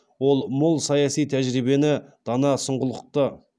ол мол саяси тәжірибені дана сұңғылықты